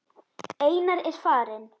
Einar er farinn.